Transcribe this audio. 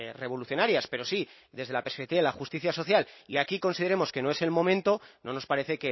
revolucionarias pero sí desde la perspectiva de la justicia social y aquí consideremos que no es el momento no nos parece